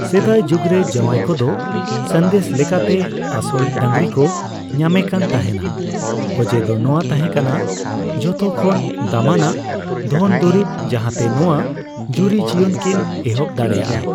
ᱥᱮᱫᱟᱭ ᱡᱩᱜᱽ ᱨᱮ ᱡᱟᱣᱟᱭ ᱠᱚᱫᱚ ᱥᱟᱸᱫᱮᱥ ᱞᱮᱠᱟᱛᱮ ᱟᱥᱚᱞ ᱰᱟᱹᱝᱨᱤ ᱠᱚ ᱧᱟᱢᱮᱠᱟᱱ ᱛᱟᱦᱮᱱᱟ, ᱚᱡᱮ ᱫᱚ ᱱᱚᱣᱟ ᱛᱟᱦᱮᱸᱠᱟᱱᱟ ᱡᱚᱛᱷᱚ ᱠᱷᱚᱱ ᱫᱟᱢᱟᱱᱟᱜ ᱫᱷᱚᱱ ᱫᱚᱨᱤᱵᱽ ᱡᱟᱦᱟᱸ ᱛᱮ ᱱᱚᱣᱟ ᱡᱩᱨᱤ ᱡᱤᱭᱚᱱ ᱠᱤᱱ ᱮᱦᱚᱵ ᱫᱟᱲᱮᱭᱟᱜᱼᱟ ᱾